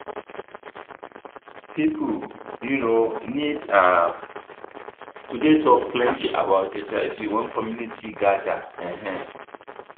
people um need um to dey talk plenty about hiv when community gather um